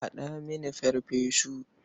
Haɗa mini farfesu.